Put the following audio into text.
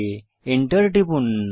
Enter টিপুন